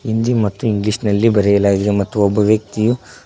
ಹಿಂದಿ ಮತ್ತೆ ಇಂಗ್ಲಿಷ್ ನಲ್ಲಿ ಬರೆಯಲಾಗಿದೆ ಮತ್ತು ಒಬ್ಬ ವ್ಯಕ್ತಿಯು--